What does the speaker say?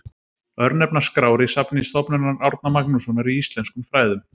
Örnefnaskrár í safni Stofnunar Árna Magnússonar í íslenskum fræðum.